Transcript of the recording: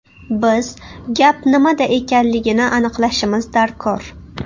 Biz gap nimada ekanligini aniqlashimiz darkor.